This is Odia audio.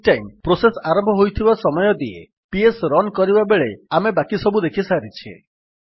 ଷ୍ଟାଇମ୍ ପ୍ରୋସେସ୍ ଆରମ୍ଭ ହୋଇଥିବା ସମୟ ଦିଏ ପିଏସ୍ ରନ୍ କରିବାବେଳେ ଆମେ ବାକିସବୁ ଦେଖିସାରିଛେ